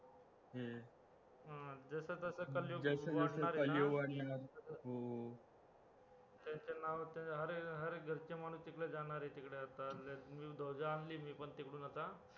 त्यांचा नावाचे घरचे माणूस तिकडे जाणारे आता ध्वजा आणली मी पण तिकडून आता